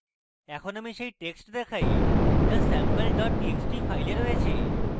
এখন আমি সেই text দেখায় যা আমার কাছে sample dot txt file রয়েছে